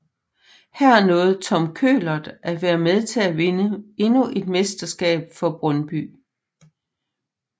Her nåede Tom Køhlert at være med til at vinde endnu et mesterskab for Brøndby